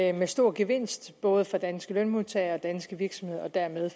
er med stor gevinst både for danske lønmodtagere danske virksomheder og dermed